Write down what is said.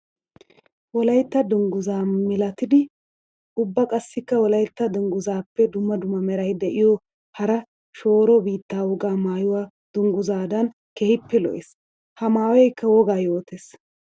Wolaytta dungguza milatiddi ubba qassikka wolaytta dungguzappe dumma meray de'iyo hara shooro biitta wogaa maayoy dungguzadan keehippe lo'ees. Ha maayoykka wogaa yootes.